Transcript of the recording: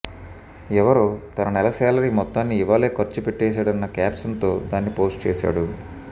ఎవరో తన నెల శాలరీ మొత్తాన్ని ఇవాళే ఖర్చు పెట్టేశాడన్న క్యాప్షన్ తో దాన్ని పోస్ట్ చేశాడు